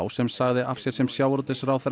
sem sagði af sér sem sjávarútvegsráðherra